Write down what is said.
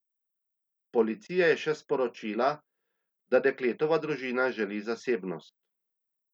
Policija je še sporočila, da dekletova družina želi zasebnost.